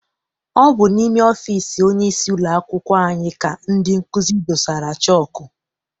Ọ bụ n'ime ọfịịsi onyeisi ụlọakwụkwọ anyị ka ndị nkụzi dosara chọku.